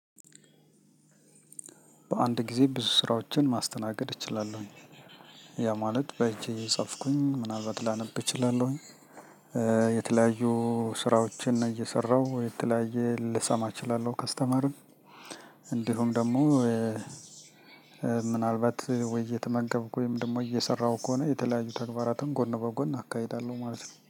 በአንድ ጊዜ ብዙ ስራዎችን ማስተናገድ እችላለሁኝ ያ ማለት በሄጄ የጻፍኩኝ ምናልባት ላነብ እችላለሁኝ የተለያዩ ስራዎችን እየሰራሁ የተለያየ ልሰማ እችላለሁ ከስተመርን እንዲሁም ደግሞ ምናልባት ወይ እየተመገብኩ ወይ ደግሞ እየሰራሁ ከሆነ የተለያዩ ተግባራትን ጎን በጎን አካሄዳለሁ ማለት ነው።